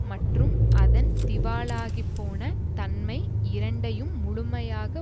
மற்றும் அதன் திவாலாகிப்போன தன்மை இரண்டையும் முழுமையாக